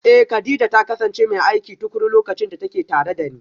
Eh, Kadija ta kasance mai aiki tukuru lokacin da take tare da ni